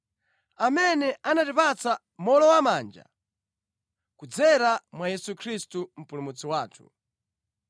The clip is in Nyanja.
amene anatipatsa mowolowamanja kudzera mwa Yesu Khristu Mpulumutsi wathu,